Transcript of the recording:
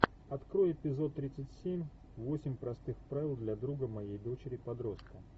открой эпизод тридцать семь восемь простых правил для друга моей дочери подростка